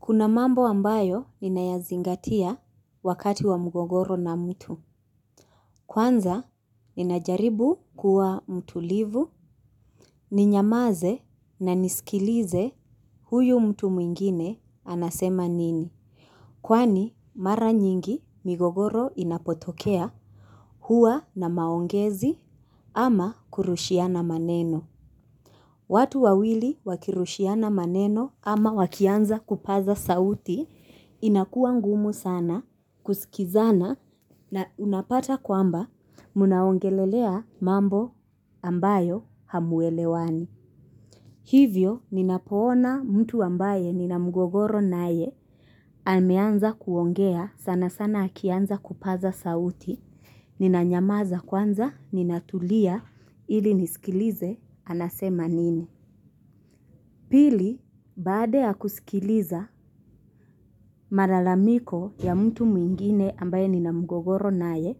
Kuna mambo ambayo ninayazingatia wakati wa mgogoro na mtu. Kwanza ninajaribu kuwa mtulivu ninyamaze na nisikilize huyu mtu mwengine anasema nini. Kwani, mara nyingi mgogoro inapotokea huwa na maongezi ama kurushiana maneno. Watu wawili wakirushiana maneno ama wakianza kupaza sauti inakuwa ngumu sana kusikizana na unapata kwamba mnaongelelea mambo ambayo hamuelewani. Hivyo ninapoona mtu ambaye nina mgogoro naye ameanza kuongea sana sana akianza kupaza sauti ninanyamaza kwanza ninatulia ili nisikilize anasema nini. Pili, baada ya kusikiliza malalamiko ya mtu mwingine ambaye nina mgogoro naye,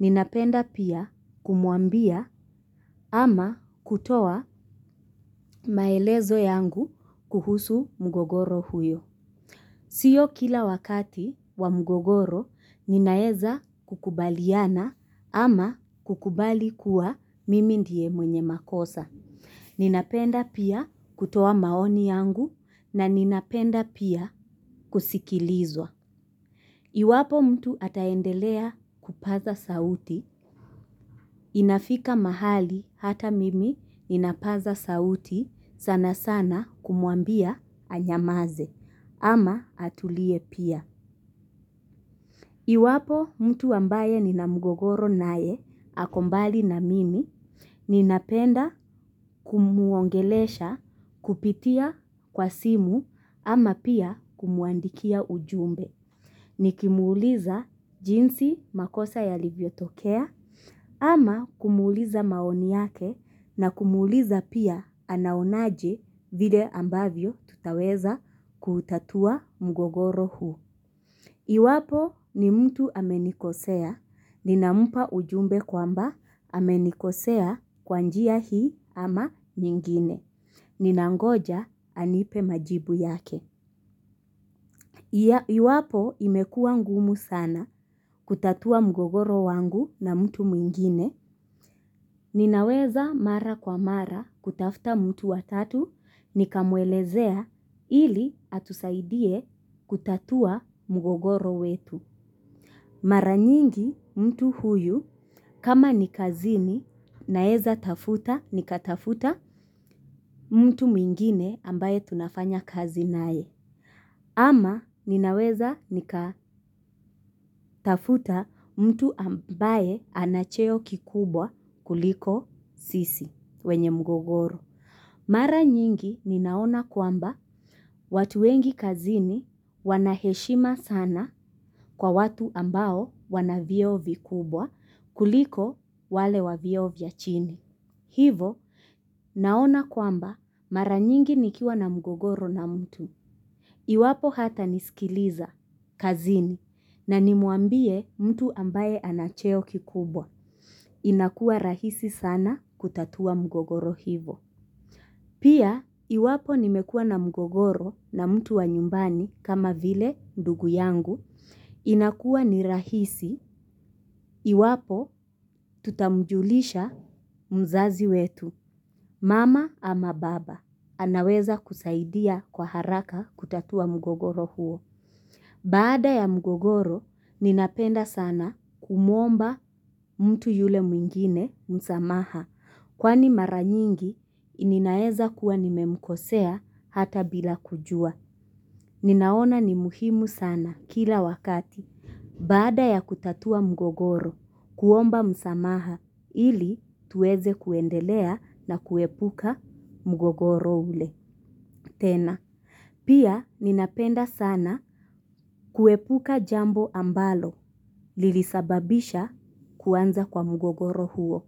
ninapenda pia kumwambia ama kutoa maelezo yangu kuhusu mgogoro huyo. Sio kila wakati wa mgogoro ninaeza kukubaliana ama kukubali kuwa mimi ndiye mwenye makosa. Ninapenda pia kutoa maoni yangu na ninapenda pia kusikilizwa. Iwapo mtu ataendelea kupaza sauti, inafika mahali hata mimi ninapaza sauti sana sana kumwambia anyamaze ama atulie pia. Iwapo mtu ambaye nina mgogoro naye ako mbali na mimi ninapenda kumuongelesha kupitia kwa simu ama pia kumuandikia ujumbe. Nikimuuliza jinsi makosa yalivyotokea ama kumuuliza maoni yake na kumuuliza pia anaonaje vile ambavyo tutaweza kuutatua mgogoro huu. Iwapo ni mtu amenikosea. Ninampa ujumbe kwamba amenikosea kwa njia hii ama nyingine. Ninangoja anipe majibu yake. Iwapo imekua ngumu sana kutatua mgogoro wangu na mtu mwingine. Ninaweza mara kwa mara kutafta mtu wa tatu nikamwelezea ili atusaidie kutatua mgogoro wetu. Mara nyingi mtu huyu kama ni kazini naeza tafuta nikatafuta mtu mwingine ambaye tunafanya kazi naye. Ama ninaweza nikatafuta mtu ambaye ana cheo kikubwa kuliko sisi wenye mgogoro. Mara nyingi ninaona kwamba watu wengi kazini wana heshima sana kwa watu ambao wana vyeo vikubwa kuliko wale wa vyeo vya chini. Hivo naona kwamba mara nyingi nikiwa na mgogoro na mtu. Iwapo hatanisikiliza kazini na nimuambie mtu ambaye ana cheo kikubwa. Inakua rahisi sana kutatua mgogoro hivo. Pia, iwapo nimekua na mgogoro na mtu wa nyumbani kama vile ndugu yangu, inakuwa ni rahisi, iwapo tutamjulisha mzazi wetu, mama ama baba, anaweza kusaidia kwa haraka kutatua mgogoro huo. Baada ya mgogoro, ninapenda sana kumuomba mtu yule mwengine, msamaha, kwani mara nyingi, ninaeza kuwa nimemkosea hata bila kujua. Ninaona ni muhimu sana kila wakati. Baada ya kutatua mgogoro, kuomba msamaha, ili tuweze kuendelea na kuepuka mgogoro ule. Tena, pia ninapenda sana kuepuka jambo ambalo, lilisababisha kuanza kwa mgogoro huo.